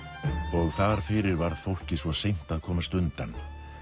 og þar fyrir varð fólkið svo seint að komast undan